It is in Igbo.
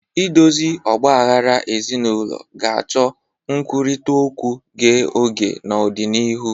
Idozi ọgba aghara ezinụlọ ga-achọ nkwurịta okwu ghe ọghe n'ọdịnihu.